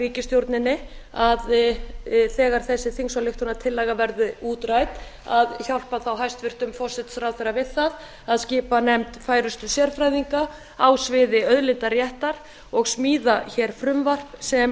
ríkisstjórninni að þegar þessi þingsályktunartillaga verður útrædd að hjálpa þá hæstvirtur forsætisráðherra við það að skipa nefnd færustu sérfræðinga á sviði auðlindaréttar og smíða frumvarp sem